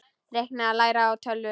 Reikna- læra á tölvur